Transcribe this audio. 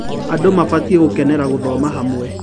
Andũ mabatiĩ gũkenera gũthoma hamwe.